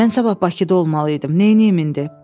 Mən sabah Bakıda olmalıyam, neyniyim indi?"